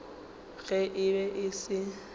ge e be e se